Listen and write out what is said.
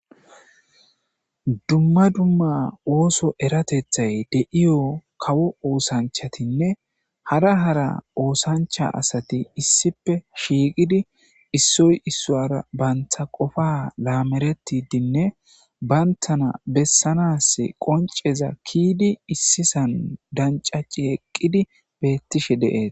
Dumma dumma ooso erateththay de'iyo kawo oosanchatinne hara hara oosancha asati issipe shiiqidi issoy issowara banta qofa laameretidinne bayntana bessanas qonceza kiidi issisan dancaci eqqidi beettishe de'es.